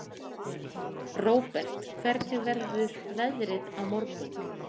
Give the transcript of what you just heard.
Róbert, hvernig verður veðrið á morgun?